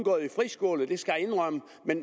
gået i friskole det skal jeg indrømme